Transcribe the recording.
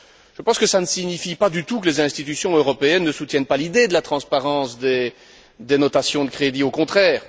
Je pense que cela ne signifie pas du tout que les institutions européennes ne soutiennent pas l'idée de la transparence des notations de crédit, au contraire.